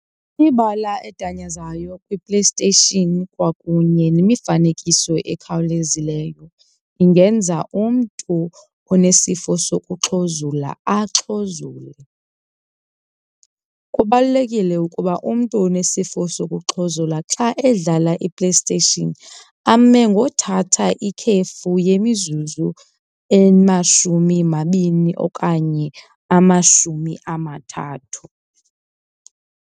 Ibala edanyazayo kwiPlayStation kwakunye nemifanekiso ekhawulezileyo ingenza umntu onesifo sokuxhuzula axhuzule. Kubalulekile ukuba umntu onesifo sokuxhuzula xa edlala iPlayStation ame ngothatha ikhefu yemizuzu emashumi mabini okanye amashumi amathathu.